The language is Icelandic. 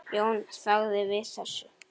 Jón þagði við þessu.